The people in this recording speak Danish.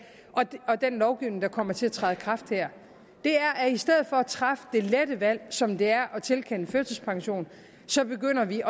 og den lovgivning der kommer til at træde i kraft her at i stedet for at træffe det lette valg som det er at tilkende førtidspension så begynder vi